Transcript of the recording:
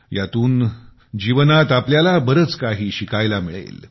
यातून जीवनात आपल्याला बरच शिकायला मिळेल